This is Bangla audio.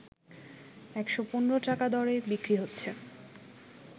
১১৫ টাকা দরে বিক্রি হচ্ছে